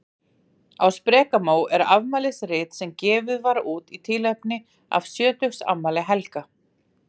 Á sprekamó er afmælisrit sem gefið var út í tilefni af sjötugsafmæli Helga.